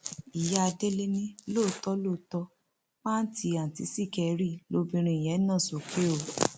ìyá délé ni lóòótọ lóòótọ pàǹtí àǹtí sìkẹrì lobìnrin yẹn nà sókè o